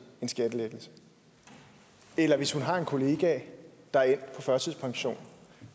en skattelettelse eller hvis hun har kollegaer der er endt på førtidspension